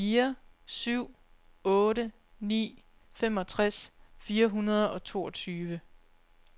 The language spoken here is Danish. fire syv otte ni femogtres fire hundrede og toogtyve